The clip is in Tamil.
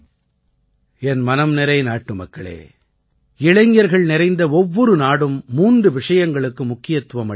என் மனம்நிறை நாட்டுமக்களே இளைஞர்கள் நிறைந்த ஒவ்வொரு நாடும் மூன்று விஷயங்களுக்கு முக்கியத்துவம் அளிக்கின்றன